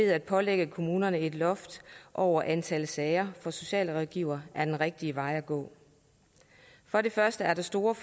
at pålægge kommunerne at indføre et loft over antal sager for socialrådgivere er den rigtige vej at gå for det første er der stor